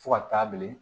Fo ka taa bilen